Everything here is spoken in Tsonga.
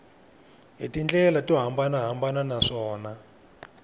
hi tindlela to hambanahambana naswona